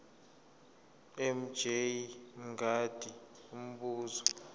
mj mngadi umbuzo